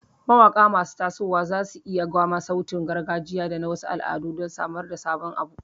Mawaƙa masu tasowa za su iya gwama sautin gargajiya da na wasu al'adun don samar da sabon abu.